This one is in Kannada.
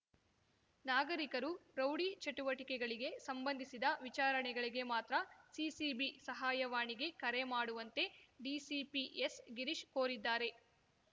ನಾಗರಿಕರು ರೌಡಿ ಚಟುವಟಿಕೆಗಳಿಗೆ ಸಂಬಂಧಿಸಿದ ವಿಚಾರಗಳಿಗೆ ಮಾತ್ರ ಸಿಸಿಬಿ ಸಹಾಯವಾಣಿಗೆ ಕರೆ ಮಾಡುವಂತೆ ಡಿಸಿಪಿ ಎಸ್‌ಗಿರೀಶ್‌ ಕೋರಿದ್ದಾರೆ